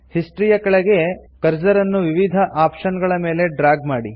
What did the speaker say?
history ಯ ಕೆಳಗೆ cursor ಅನ್ನು ವಿವಿಧ ಆಪ್ಷನ್ ಗಳ ಮೇಲೆ ಡ್ರಾಗ್ ಮಾಡಿ